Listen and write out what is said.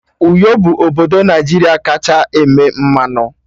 Uyo bụ obodo Naijiria kacha eme mmanụ